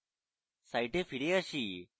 site ফিরে যান